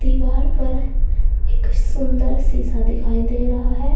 दीवार पर एक सुंदर शीशा दिखाई दे रहा है।